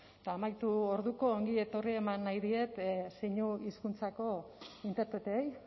eta amaitu orduko ongi etorri eman nahi diet zeinu hizkuntzako interpreteei